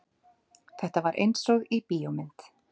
Þetta var einsog í bíómynd.